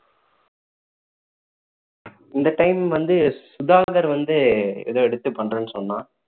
இந்த time வந்து சுதாகர் வந்து ஏதோ எடுத்து பண்றேன்னு சொன்னான்